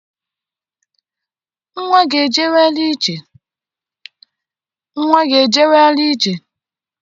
Nnwa gị ejewela ije?